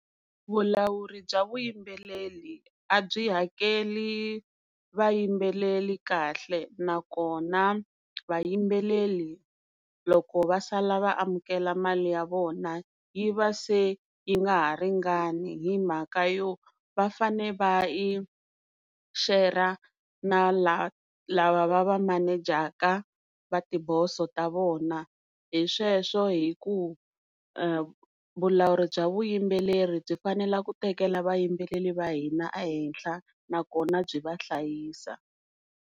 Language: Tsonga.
Vulawuri bya vuyimbeleri a byi hakeli vayimbeleri kahle, nakona vayimbeleri loko va sala vaamukela mali ya vona yi va se yi nga ha ringani himhaka yo va fane va yi share na lava va va manejaka va tiboso ta vona hi sweswo hi ku vulawuri bya vuyimbeleri byi fanela ku tekela vayimbeleri va hina ehenhla nakona byi vahlayisa.